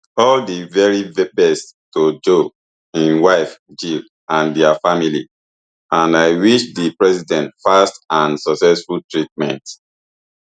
all di very best to joe im wife jill and dia family and i wish di president fast and successful treatment